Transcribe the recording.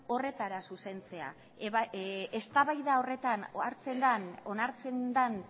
horretara zuzentzea eztabaida horretan onartzen den